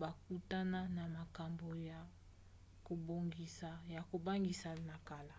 bakutana na makambo ya kobangisa na kala